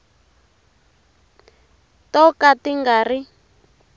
to ka ti nga ri